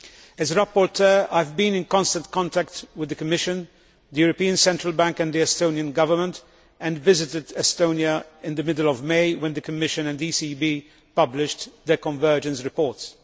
As rapporteur, I have been in constant contact with the Commission, the European Central Bank and the Estonian Government and visited Estonia in the middle of May when the Commission and the ECB published their convergence reports.